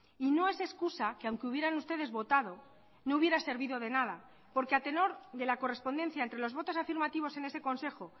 y no es excusa que aunque hubieran ustedes votado no hubiera servido de nada porque a tenor de la correspondencia entre los votos afirmativos en ese consejo